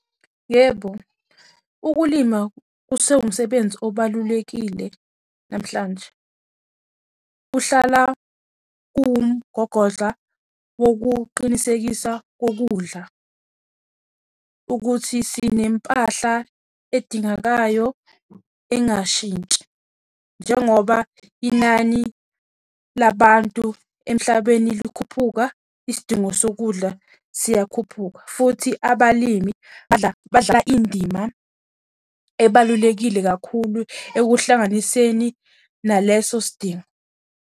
Yebo, ukulima kusewumsebenzi obalulekile namhlanje. Kuhlala kumgogodla wokuqinisekisa kokudla ukuthi sinempahla edingakayo engashintshi, njengoba inani labantu emhlabeni likhuphuka, isidingo sokudla siyakhuphuka. Futhi abalimi badlala indima ebalulekile kakhulu ekuhlanganiseni naleso sidingo.